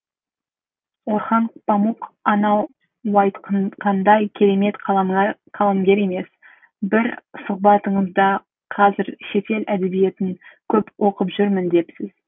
орхан памук анауайтқандай керемет қаламгер емес бірсұхбатыңызда қазір шетел әдебиетін көп оқып жүрмін депсіз